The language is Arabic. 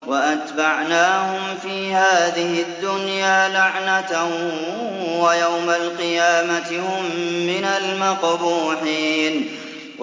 وَأَتْبَعْنَاهُمْ فِي هَٰذِهِ الدُّنْيَا لَعْنَةً ۖ وَيَوْمَ الْقِيَامَةِ هُم مِّنَ الْمَقْبُوحِينَ